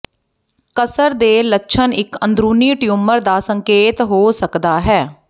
ਕਸਰ ਦੇ ਲੱਛਣ ਇੱਕ ਅੰਦਰੂਨੀ ਟਿਊਮਰ ਦਾ ਸੰਕੇਤ ਹੋ ਸਕਦਾ ਹੈ